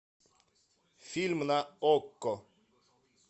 фильм на окко